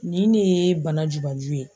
Nin ne ye bana jubaju ye.